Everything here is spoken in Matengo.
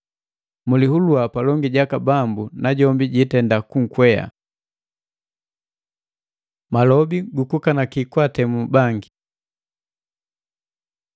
Mulihulua palongi jaka Bambu, najombi jiitenda kunkwea. Mabole gukukanaki kwaatemu bangi